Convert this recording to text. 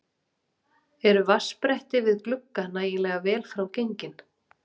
Eru vatnsbretti við glugga nægilega vel frá gengin?